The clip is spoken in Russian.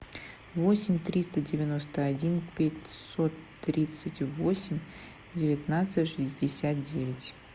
восемь триста девяносто один пятьсот тридцать восемь девятнадцать шестьдесят девять